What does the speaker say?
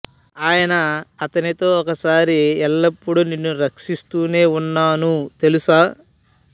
ఆయన అతనితో ఒకసారి ఎల్లప్పుడూ నిన్ను రక్షిస్తూనే ఉన్నాను తెలుసా